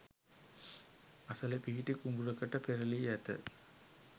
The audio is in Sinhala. අසල පිහිටි කුඹුරකට පෙරළී ඇත.